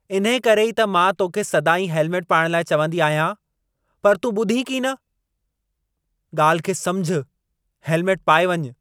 इन्हेकरे ई त मां तोखे सदाईं हेलमेटु पाइण लाइ चवंदी आहियां, पर तूं ॿुधी कीन। ॻाल्हि खे समुझु, हेलमेटु पाए वञु।